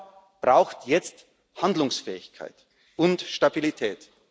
Europa braucht jetzt Handlungsfähigkeit und Stabilität.